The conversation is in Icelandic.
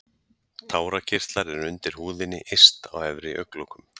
tárakirtlar eru undir húðinni yst á efri augnlokum